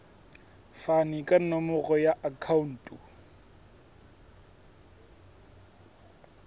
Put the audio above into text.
fane ka nomoro ya akhauntu